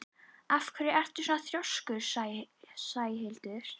Af hverju ertu svona þrjóskur, Sæhildur?